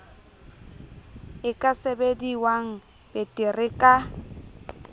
e ka sebediwang betere ka